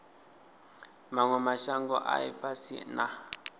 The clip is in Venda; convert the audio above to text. manwe mashango a ifhasi na